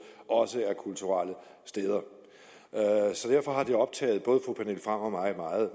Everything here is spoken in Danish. også er kulturelle steder derfor har det optaget både fru pernille frahm og mig meget